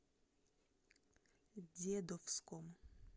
дедовском